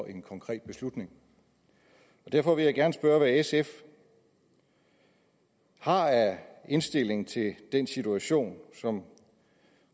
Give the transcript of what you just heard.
en konkret beslutning derfor vil jeg gerne spørge hvad sf har af indstilling til den situation som